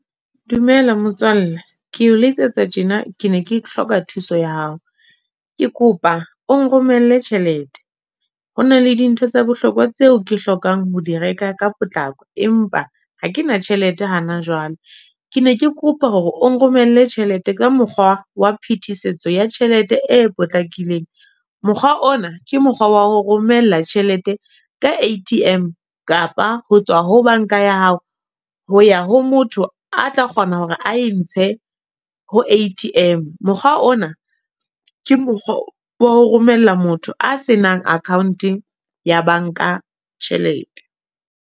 Dumela motswalle. Keo letsetsa tjena ke ne ke hloka thuso ya hao. Ke kopa o nromelle tjhelete. Hona le dintho tsa bohlokwa tseo ke hlokang ho di reka, ka potlako. Empa ha ke na tjhelete hana jwale. Ke ne ke kopa hore o nromelle tjhelete ka mokgwa wa phetisetso ya tjhelete e potlakileng. Mokgwa ona ke mokgwa wa ho romela tjhelete ka A_T_M, kapa ho tswa ho bank-a ya hao, ho ya ho motho a tla kgona hore a e ntshe ho A_T_M. Mokgwa ona, ke mokgwa wa ho romella motho a se nang account ya bank-a tjhelete.